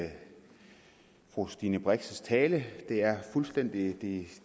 det fru stine brix tale det er fuldstændig